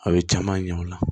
A bɛ caman ɲɛ o la